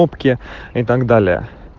опке и так далее